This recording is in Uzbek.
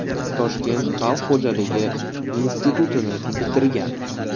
Toshkent xalq xo‘jaligi institutini bitirgan.